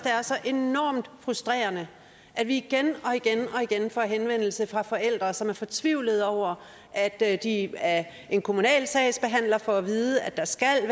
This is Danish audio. er så enormt frustrerende at vi igen og igen får henvendelser fra forældre som er fortvivlede over at at de af en kommunal sagsbehandler får at vide at der skal